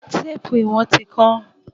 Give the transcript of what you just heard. Téèpù ìwọ̀n ti kán.